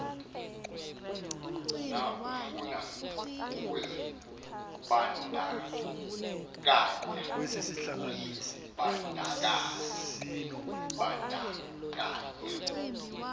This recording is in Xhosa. na ofuna ukuzibandakanya